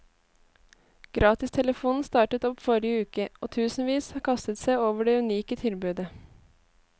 Gratistelefonen startet opp forrige uke, og tusenvis har kastet seg over det unike tilbudet.